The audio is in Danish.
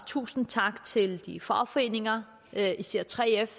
tusind tak til de fagforeninger især 3f